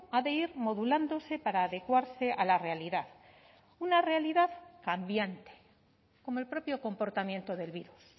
ha de ir modulándose para adecuarse a la realidad una realidad cambiante como el propio comportamiento del virus